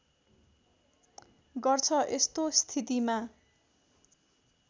गर्छ यस्तो स्थितिमा